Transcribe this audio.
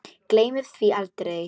Gleymir því aldrei.